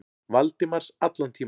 Valdimars allan tímann.